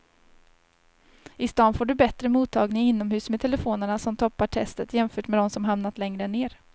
I stan får du bättre mottagning inomhus med telefonerna som toppar testet jämfört med de som hamnat längre ner.